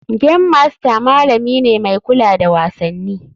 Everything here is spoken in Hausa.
Game master malami ne mai kula da wasanni.